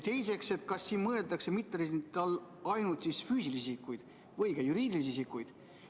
Teiseks, kas siin mõeldakse mitteresidentide all ainult füüsilisi isikuid või ka juriidilisi isikuid?